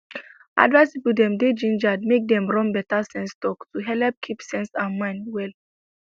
advice people dem dey gingered make dem run better sense talktalk to helep keep sense and mind well